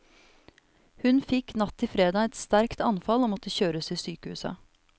Hun fikk natt til fredag et sterkt anfall og måtte kjøres til sykehuset.